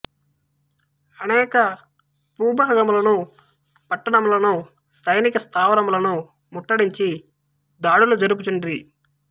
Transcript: అనేక భూభాగములను పట్టణములను సైనిక స్తావరములనూ ముట్టడించి దాడులు జరుపుచుండిరి